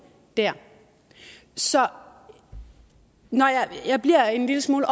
så jeg bliver en lille smule